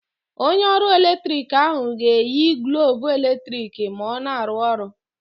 Onye ọrụ eletrik ahụ ga-eyi glọvụ eletrik ma ọ na-arụ ọrụ.